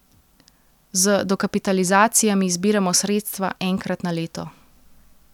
Z dokapitalizacijami zbiramo sredstva enkrat na leto.